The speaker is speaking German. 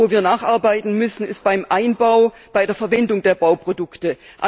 Aber wo wir nacharbeiten müssen, ist beim Einbau, bei der Verwendung der Bauprodukte.